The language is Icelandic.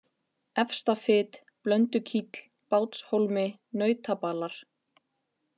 Efstafit, Blöndukíll, Bátshólmi, Nautabalar